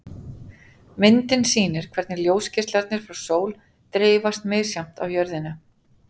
Myndin sýnir hvernig ljósgeislarnir frá sól dreifast misjafnt á jörðina.